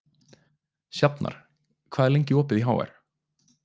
Sjafnar, hvað er lengi opið í HR?